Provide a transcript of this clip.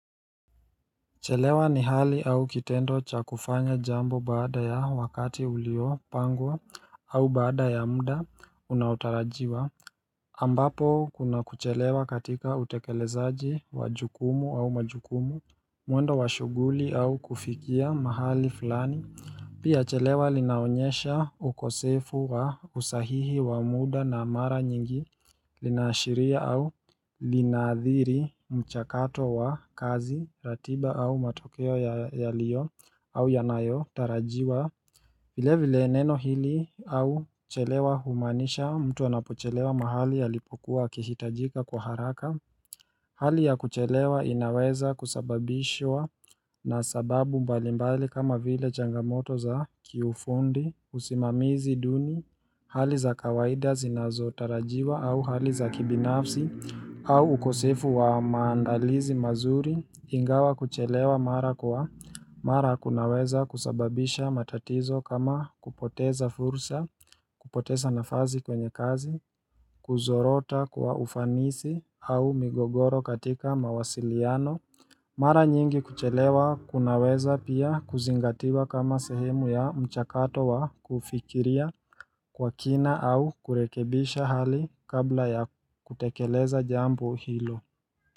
Chelewa ni hali au kitendo cha kufanya jambo baada ya wakati uliopangwa au baada ya muda unaotarajiwa ambapo kuna kuchelewa katika utekelezaji wa jukumu au majukumu mwendo wa shughuli au kufikia mahali fulani Pia chelewa linaonyesha ukosefu wa usahihi wa muda na mara nyingi linaashiria au linaadhiri mchakato wa kazi ratiba au matokeo yaliyo au yanayotarajiwa vile vile neno hili au chelewa humaanisha mtu anapochelewa mahali alipokuwa akihitajika kwa haraka Hali ya kuchelewa inaweza kusababishwa na sababu mbalimbali kama vile changamoto za kiufundi usimamizi duni Hali za kawaida zinazotarajiwa au hali za kibinafsi au ukosefu wa maandalizi mazuri ingawa kuchelewa mara kwa mara kunaweza kusababisha matatizo kama kupoteza fursa kupoteza nafasi kwenye kazi Kuzorota kwa ufanisi au migogoro katika mawasiliano Mara nyingi kuchelewa kunaweza pia kuzingatiwa kama sehemu ya mchakato wa kufikiria kwa kina au kurekebisha hali kabla ya kutekeleza jambo hilo.